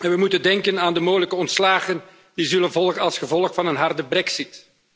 We moeten denken aan de mogelijke ontslagen die zullen volgen als gevolg van een harde brexit.